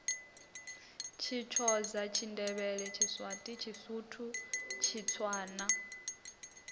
tshithoza tshindevhele tshiswati tshisuthu tshitswana